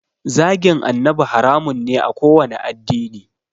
Zagin annabi haramun ne a kowanne addini